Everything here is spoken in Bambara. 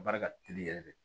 Baara ka teli yɛrɛ de